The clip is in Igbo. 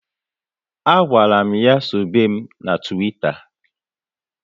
A gwara m ya sobe mụ na Twitter